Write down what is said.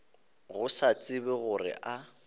go se tsebe gore a